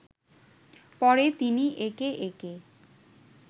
পরে তিনি একে একে